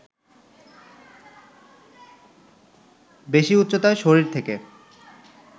বেশি উচ্চতায় শরীর থেকে